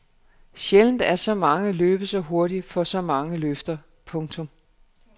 Sjældent er så mange løbet så hurtigt fra så mange løfter. punktum